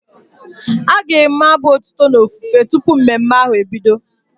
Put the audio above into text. A ga-enwe abụ otuto na ofufe tụpụ mmemme ahu ebido